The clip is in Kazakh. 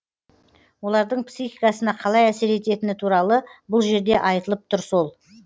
олардың психикасына қалай әсер ететіні туралы бұл жерде айтылып тұр сол